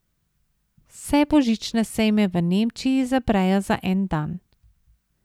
Vse božične sejme v Nemčiji zaprejo za en dan.